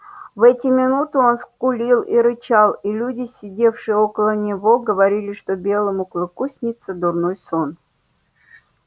в эти минуты он скулил и рычал и люди сидевшие около него говорили что белому клыку снится дурной сон